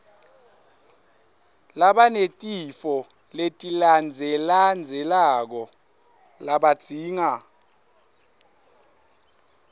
labanetifo letilandzelandzelako labadzinga